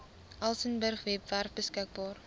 elsenburg webwerf beskikbaar